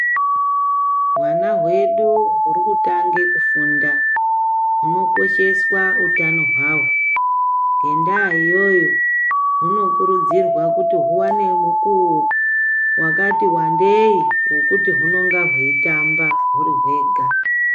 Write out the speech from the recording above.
Hwana hwedu hurikutange kufunda hunokosheswa utano hwavo. Ngendaa iyoyo hunokurudzirwa kuti huvane mukuvo vakati vandeii hwekuti hunonga hweitamba huri vega.